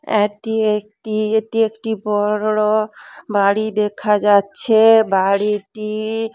এটি একটি এটি একটি বড়ো-অ বাড়ি দেখা যাচ্ছে বাড়িটি --